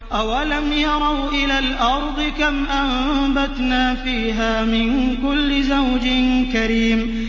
أَوَلَمْ يَرَوْا إِلَى الْأَرْضِ كَمْ أَنبَتْنَا فِيهَا مِن كُلِّ زَوْجٍ كَرِيمٍ